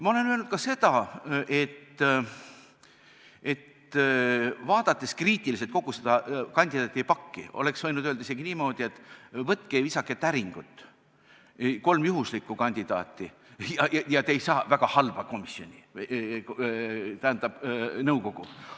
Ma olen öelnud ka seda, et vaadates kriitiliselt kogu seda kandidaadipakki, oleks võinud öelda isegi niimoodi, et võtke ja visake täringut, et valida kolm juhuslikku kandidaati, ja te ei saa väga halba nõukogu.